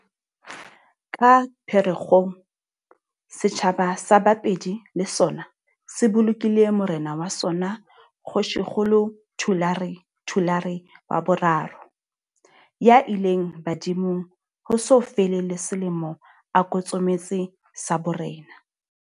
Ka Pherekgong, setjhaba sa Bapedi le sona se bolokile morena wa sona Kgoshikgolo Thulare Thulare wa boraro, ya ileng badimong ho so fele le selemo a kotsometse sa borena.